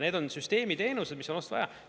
Need on süsteemiteenused, mis on vaja.